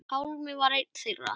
Pálmi var einn þeirra.